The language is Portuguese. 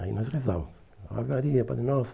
Aí nós rezávamos. Ave Maria, Pai Nosso